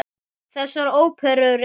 Þessar óperur eru